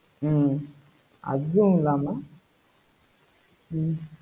ஹம் அதுவும் இல்லாம ஹம்